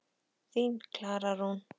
Þín, Klara Rún.